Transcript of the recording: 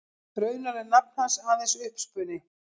Raunar er nafn hans aðeins uppspuni.